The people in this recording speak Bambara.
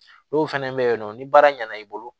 N'o fɛnɛ bɛ ye nɔ ni baara ɲɛna i bolo